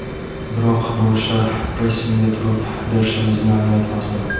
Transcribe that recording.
Biroq bu o‘sha pressingga turib berishimizni anglatmasdi.